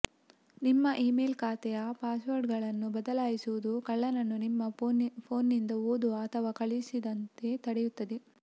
ನಿಮ್ಮ ಇಮೇಲ್ ಖಾತೆಯ ಪಾಸ್ವರ್ಡ್ಗಳನ್ನು ಬದಲಾಯಿಸುವುದು ಕಳ್ಳನನ್ನು ನಿಮ್ಮ ಫೋನ್ನಿಂದ ಓದುವ ಅಥವಾ ಕಳುಹಿಸದಂತೆ ತಡೆಯುತ್ತದೆ